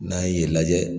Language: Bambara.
N'an ye yen lajɛ